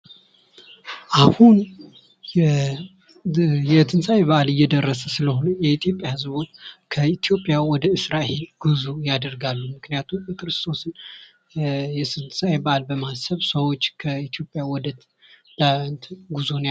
አሁን የትንሣኤ በዓል እየደረሰ ስለሆነ የኢትዮጵያ ህዝብ ወደ እስራኤል ጉዞ ያደርጋሉ ምክንያቱም የትንሣኤ በዓልን በማሰብ ሰዎች ከኢትዮጵያ ወደ እስራኤል ጉዞ ያደርጋሉ።